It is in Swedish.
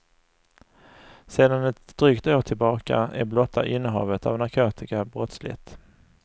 Sedan ett drygt år tillbaka är blotta innehavet av narkotika brottsligt.